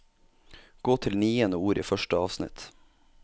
Gå til niende ord i første avsnitt